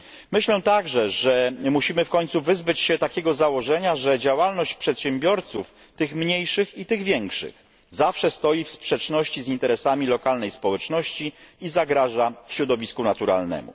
Myślę także, że musimy w końcu wyzbyć się takiego założenia, że działalność przedsiębiorców, tych mniejszych i tych większych, zawsze stoi w sprzeczności z interesami lokalnej społeczności i zagraża środowisku naturalnemu.